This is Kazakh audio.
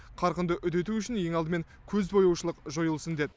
қарқынды үдету үшін ең алдымен көзбояушылық жойылсын деді